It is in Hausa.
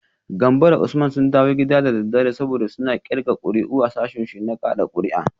Gambo da Usman sun dawo gida da daddare, saboda suna kirga kuri’u a sashinsu na kada kuri’a